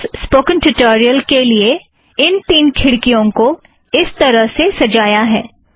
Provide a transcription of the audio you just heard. मैंने इस spoken tutorial के लिए इन तीन खिड़कियों को इस तरह से सजाया है